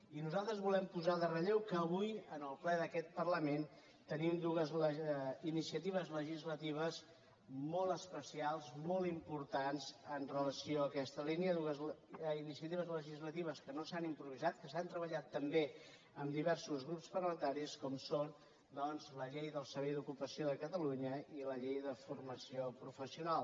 i nosaltres volem posar en relleu que avui en el ple d’aquest parlament tenim dues iniciatives legislatives molt especials molt importants amb relació a aquesta línia dues iniciatives legislatives que no s’han improvisat que s’han treballat també amb diversos grups parlamentaris com són doncs la llei del servei d’ocupació de catalunya i la llei de formació professional